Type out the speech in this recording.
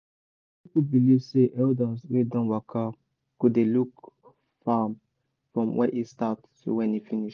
our people believe say elders wey don waka go dey look farm from when e start to when e finish.